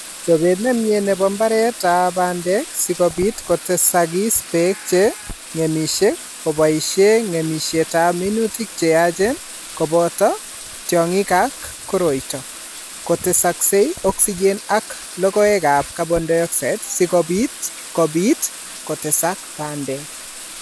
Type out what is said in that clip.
Chobet ne myee ne po mbaretap bandek si kobiit kotesagis peek che ng'emisyei, koboisyee ng'emisyetap minutik che yachen, kobooto tyong'ik ak koroito, kotesaksei O2 ak logoegap CO2, si kobiit kobiit kotesak bandek.